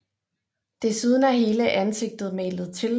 Desuden er hele ansigtet malet til